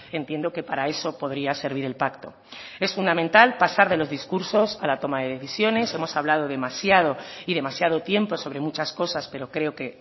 entiendo que para eso podría servir el pacto es fundamental pasar de los discursos a la toma de decisiones hemos hablado demasiado y demasiado tiempo sobre muchas cosas pero creo que